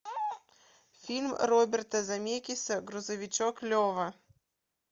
фильм роберта земекиса грузовичок лева